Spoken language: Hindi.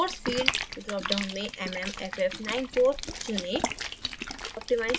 force field drop down में mmff94चुनें